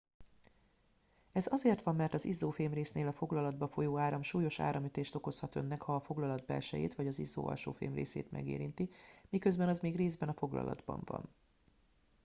ez azért van mert az izzó fémrésznél a foglalatba folyó áram súlyos áramütést okozhat önnek ha a foglalat belsejét vagy az izzó alsó fémrészét megérinti miközben az még részben a foglalatban van